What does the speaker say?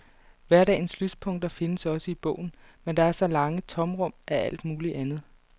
Hverdagens lyspunkter findes også i bogen, men der er også lange tomrum af alt muligt andet.